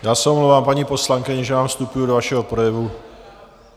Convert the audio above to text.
Já se omlouvám, paní poslankyně, že vám vstupuji do vašeho projevu.